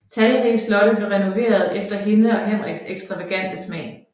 Talrige slotte blev renoveret efter hendes og Henriks ekstravagante smag